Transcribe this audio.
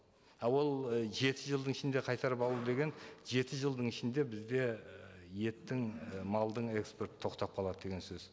а ол і жеті жылдың ішінде қайтарып алу деген жеті жылдың ішінде бізде і еттің і малдың экспорты тоқтап қалады деген сөз